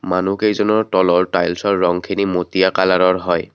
মানুহকেইজনৰ তলৰ টাইলছৰ ৰংখিনি মটীয়া কালাৰৰ হয়।